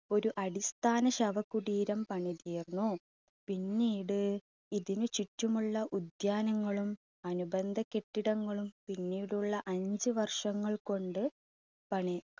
ഒരു അടിസ്ഥാന ശവകുടീരം പണി തീർന്നു. പിന്നീട് ഇതിന് ചുറ്റുമുള്ള ഉദ്യാനങ്ങളും അനുബന്ധ കെട്ടിടങ്ങളും പിന്നീടുള്ള അഞ്ച് വർഷങ്ങൾ കൊണ്ട് പണി